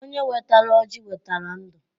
Onye wetara ọjị wetara ndụ.